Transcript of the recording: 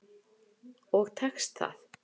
Og tekst það.